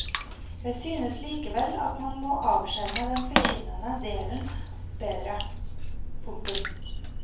Jeg synes likevel at man må avskjerme den forkynnende delen bedre. punktum